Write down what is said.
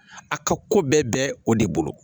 A ka ko bɛɛ bɛ o de bolo